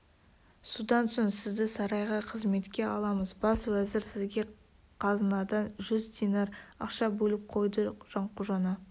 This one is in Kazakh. содан соң сізді сарайға қызметке аламыз бас уәзір сізге қазынадан жүз динар ақша бөліп қойды жанқожаны